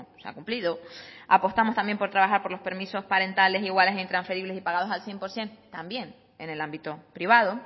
se ha cumplido apostamos también por trabajar por los permisos parentales iguales e intransferibles y pagados al cien por ciento también en el ámbito privado